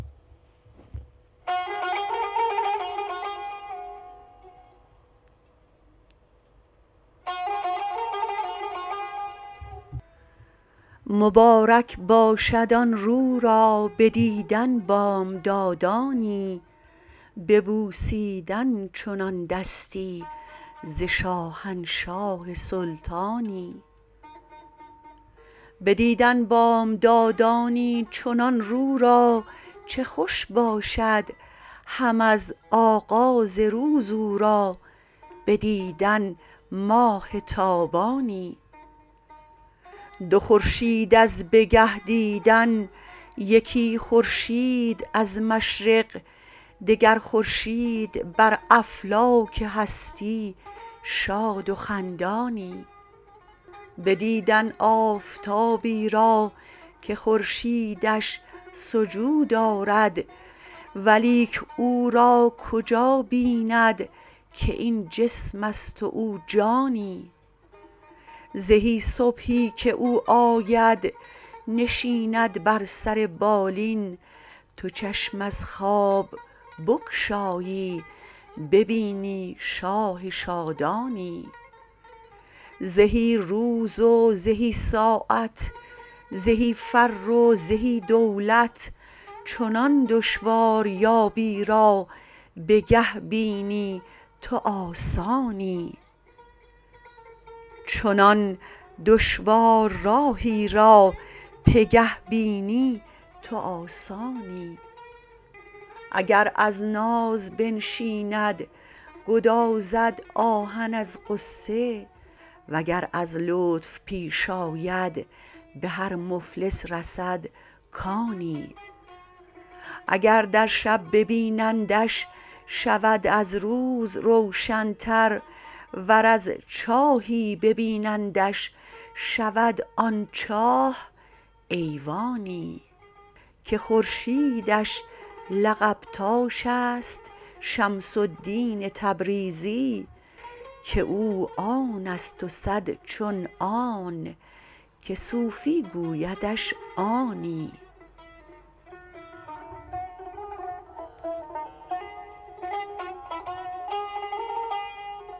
مبارک باشد آن رو را بدیدن بامدادانی به بوسیدن چنان دستی ز شاهنشاه سلطانی بدیدن بامدادانی چنان رو را چه خوش باشد هم از آغاز روز او را بدیدن ماه تابانی دو خورشید از بگه دیدن یکی خورشید از مشرق دگر خورشید بر افلاک هستی شاد و خندانی بدیدن آفتابی را که خورشیدش سجود آرد ولیک او را کجا بیند که این جسم است و او جانی زهی صبحی که او آید نشیند بر سر بالین تو چشم از خواب بگشایی ببینی شاه شادانی زهی روز و زهی ساعت زهی فر و زهی دولت چنان دشواریابی را بگه بینی تو آسانی اگر از ناز بنشیند گدازد آهن از غصه وگر از لطف پیش آید به هر مفلس رسد کانی اگر در شب ببینندش شود از روز روشنتر ور از چاهی ببینندش شود آن چاه ایوانی که خورشیدش لقب تاش است شمس الدین تبریزی که او آن است و صد چون آن که صوفی گویدش آنی